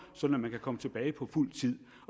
så man kan komme tilbage på fuld tid